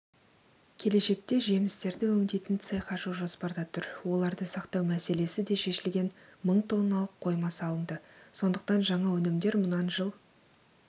келешекте жемістерді өңдейтін цех ашу жоспарда тұр оларды сақтау мәселесі де шешілген мың тонналық қойма салынды сондықтан жаңа өнімдер мұнан жыл